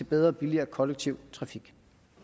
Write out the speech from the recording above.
bedre og billigere kollektiv trafik